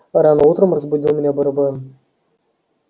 рано утром разбудил меня барабан